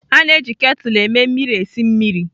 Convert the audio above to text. A na-eji ketulụ eme mmiri esi mmiri.